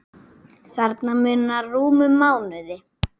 Þarna munar rúmum mánuði.